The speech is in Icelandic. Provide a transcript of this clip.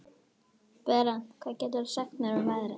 Berent, hvað geturðu sagt mér um veðrið?